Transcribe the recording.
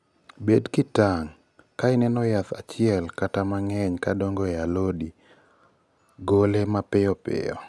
bed kitang';ka ineno jaath achiel kata mang'eny kadongo e a lot mari gole mapiyo piyo